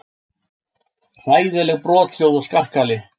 Hræðileg brothljóð og skarkali.